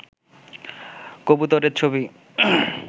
কবুতরের ছবি